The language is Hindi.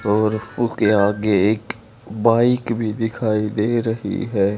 और ऊके आगे एक बाइक भी दिखाई दे रही है।